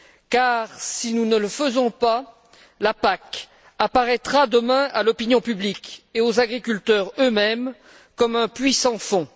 Car si nous ne le faisons pas, la PAC apparaîtra demain à l'opinion publique et aux agriculteurs eux mêmes comme un puits sans fond.